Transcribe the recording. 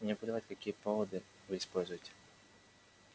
мне плевать какие поводы вы используете